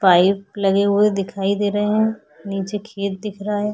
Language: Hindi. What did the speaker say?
पाइप लगे हुए दिखाई दे रहे हैं नीचे खेत दिख रहा है।